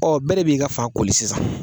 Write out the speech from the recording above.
bɛɛ de b'i ka fan koli sisan